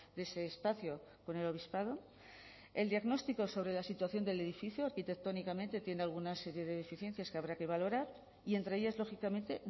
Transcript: de ese espacio con el obispado el diagnóstico sobre la situación del edificio arquitectónicamente tiene alguna serie de deficiencias que habrá que valorar y entre ellas lógicamente